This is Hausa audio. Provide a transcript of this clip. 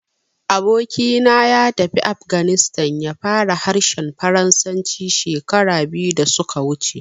Aboki na ya tafi ƙasar Afghanistan, ya fara harshen Faransanci shekaru biyu da su ka wuce